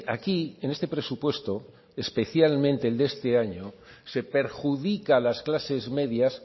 aquí en este presupuesto especialmente el de este año se perjudica a las clases medias